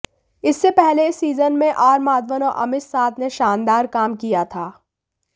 इससे पहले इस सीजन में आर माधवन और अमित साध ने शानदार काम किया था